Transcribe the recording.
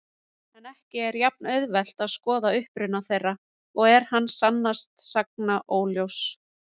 En ekki er jafn-auðvelt að skoða uppruna þeirra og er hann sannast sagna óljós.